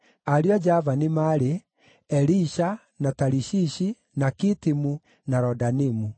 Ariũ a Javani maarĩ: Elisha, na Tarishishi, na Kitimu, na Rodanimu.